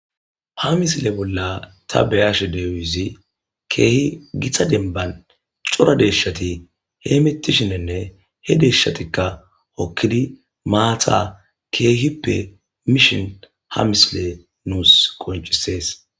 ha misile bolla ta beyashe dizay keehi gita denbban cora deeyshati hemittishinenne he deeshshatikka hokkidi maata keehippe miishin ha misile nus qoncisees.